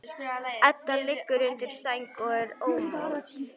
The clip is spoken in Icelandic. Edda liggur undir sæng og er ómótt.